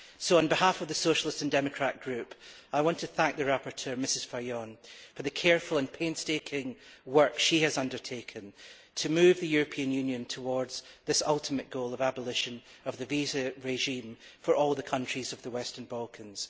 So, on behalf of the Socialist and Democrat Group, I want to thank the rapporteur, Mrs Fajon, for the careful and painstaking work she has undertaken to move the European Union towards this ultimate goal of abolition of the visa regime for all the countries of the Western Balkans.